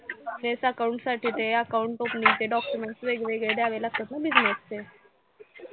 तेच accounts साठी ते account opening चे documents वेगवेगळे द्यावे लागतात ना business चे